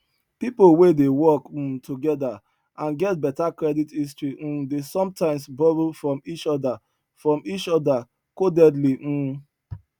people wey dey work um together and get better credit history um dey sometimes borrow from each other from each other codedly um